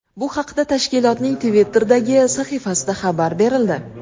Bu haqda tashkilotning Twitter’dagi sahifasida xabar berildi.